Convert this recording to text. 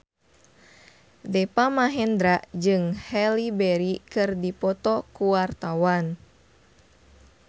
Deva Mahendra jeung Halle Berry keur dipoto ku wartawan